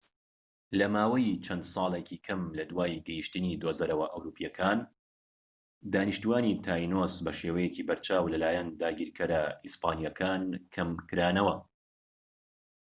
لە ماوەی چەند ساڵێکی کەم لە دوای گەیشتنی دۆزەرەوە ئەوروپیەکان دانیشتوانی تاینۆس بەشێوەیەکی بەرچاو لە لایەن داگیرکەرە ئیسپانیەکان کەم کرانەوە